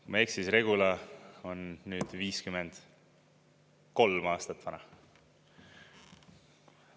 " Kui ma ei eksi, siis Regula on 53 aastat vana.